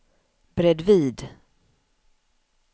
bredvid